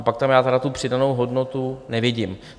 A pak tam já tedy tu přidanou hodnotu nevidím.